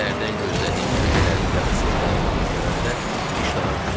Səhərdən gözlədiyim kökələrin yaxasız qaldığını görəndə iştaham küsdü.